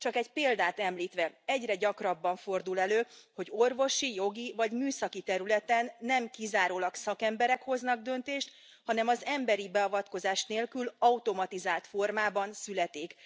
Csak egy példát említve egyre gyakrabban fordul elő, hogy orvosi, jogi, vagy műszaki területen nem kizárólag szakemberek hoznak döntést, hanem az emberi beavatkozás nélkül, automatizált formában születik.